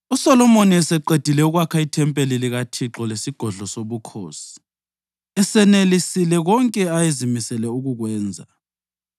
USolomoni eseqedile ukwakha ithempeli likaThixo lesigodlo sobukhosi, esenelisile konke ayezimisele ukukwenza,